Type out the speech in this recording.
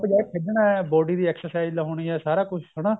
ਜਾਂ ਖੇਡਣਾ body ਦੀ exercise ਹੋਣੀ ਏ ਸਾਰਾ ਕੁੱਝ ਹਨਾ